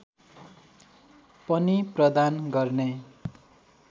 पनि प्रदान गर्ने